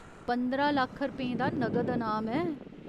पंदरां लक्ख रपेंऽ दा नगद अनाम ऐ।।